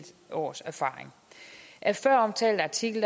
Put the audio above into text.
års erfaring af føromtalte artikel